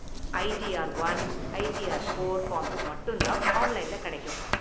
ITR one , ITR four forms மட்டும் தான் ஆன்லைன்ல கிடைக்கும்.